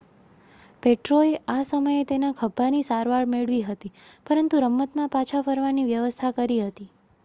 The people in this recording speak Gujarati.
પેટ્રોએ આ સમયે તેના ખભ્ભાની સારવાર મેળવી હતી પરંતુ રમતમાં પાછા ફરવાની વ્યવસ્થા કરી હતી